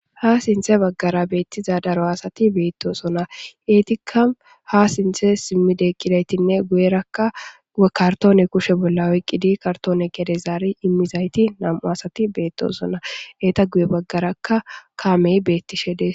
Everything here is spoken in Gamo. Ha sinththe baggera bettiza daaro assati bettossona eetika ha sinththe simmidi eqqidaytine guyyeraka kaarttone kushshe bolla oyqqidi geede zaari immizayti nam'u asati bettossona eeta guuye baageraka kaamey beetishe dessi.